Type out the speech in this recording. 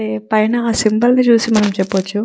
హా పైన హ సింబల్ చూసి మనం చెప్పొచ్చు.